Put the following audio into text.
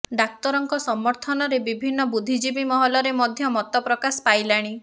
ଡାକ୍ତରଙ୍କ ସମର୍ଥନରେ ବିଭିନ୍ନ ବୁଦ୍ଧିଜୀବୀ ମହଲରେ ମଧ୍ୟ ମତ ପ୍ରକାଶ ପାଇଲାଣି